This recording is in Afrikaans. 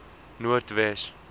noordwes